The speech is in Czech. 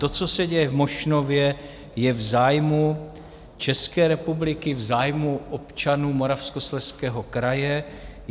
To, co se děje v Mošnově, je v zájmu České republiky, v zájmu občanů Moravskoslezského kraje.